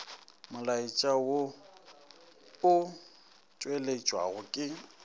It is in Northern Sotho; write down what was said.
molaetša wo o tšweletšwago ke